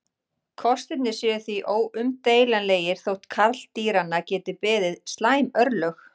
Kostirnir séu því óumdeilanlegir þótt karldýranna geti beði slæm örlög.